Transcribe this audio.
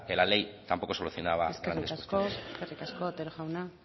la ley tampoco solucionaba grandes cuestiones eskerrik asko otero jauna